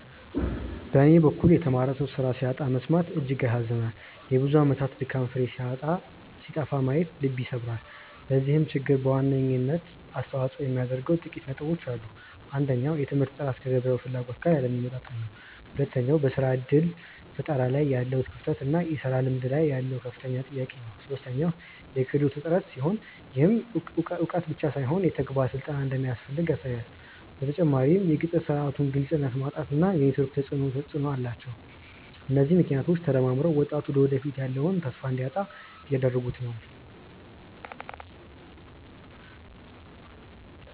በኔ በኩል የተማረ ሰው ስራ ሲያጣ መሰማት እጅግ ያሳዝናል የብዙ አመታት ድካም ፍሬ ሲጠፋ ማየት ልብ ይሰብራል። ለዚህ ችግር በዋናነት አስተዋጽኦ የሚያደርጉት ጥቂት ነጥቦች ናቸው። አንደኛው የትምህርት ጥራት ከገበያው ፍላጎት ጋር ያለመጣጣም ነው። ሁለተኛው በስራ እድል ፈጠራ ላይ ያለው ክፍተት እና የስራ ልምድ ላይ ያለው ከፍተኛ ጥያቄ ነው። ሶስተኛው የክህሎት እጥረት ሲሆን፣ ይህም እውቀት ብቻ ሳይሆን የተግባር ስልጠናም እንደሚያስፈልግ ያሳያል። በተጨማሪም የቅጥር ስርዓቱ ግልጽነት ማጣት እና የኔትወርክ ተፅእኖ ተፅእኖ አላቸው። እነዚህ ምክንያቶች ተደማምረው ወጣቱ ለወደፊቱ ያለውን ተስፋ እንዲያጣ እያደረጉት ነው።